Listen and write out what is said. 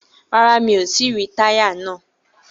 Rárá, mi ò tí í ríi táyà náà.